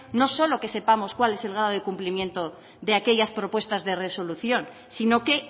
no solo que sepamos cuál es el grado de cumplimiento de aquellas propuestas de resolución si no qué